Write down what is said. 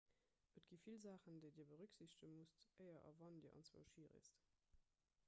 et gëtt vill saachen déi dir berücksichtege musst éier a wann dir anzwousch hi reest